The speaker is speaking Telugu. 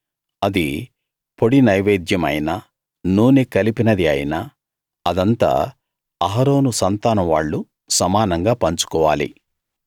అది పొడి నైవేద్యమైనా నూనె కలిపినది అయినా అదంతా అహరోను సంతానం వాళ్ళు సమానంగా పంచుకోవాలి